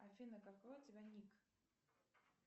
афина какой у тебя ник